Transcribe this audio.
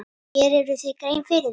Gerirðu þér grein fyrir því?